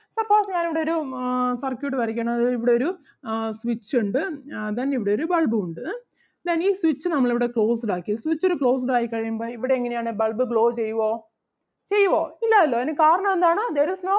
suppose ഞാൻ ഇവിടൊരു ആഹ് circuit വരക്കുകയാണ് അതായത് ഇവിടൊരു ആഹ് switch ഒണ്ട് ആഹ് then ഇവിടൊരു bulb ഉം ഒണ്ട് ഏഹ് then ഈ switch നമ്മൾ ഇവിടെ closed ആക്കി switched closed ആയി കഴിയുമ്പോൾ ഇവിടെ എങ്ങനെ ആണ് bulb glow ചെയ്യുവോ ചെയ്യുവോ ഇല്ലാല്ലോ അതിന് കാരണം എന്താണ് there is no